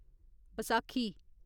Baisakhi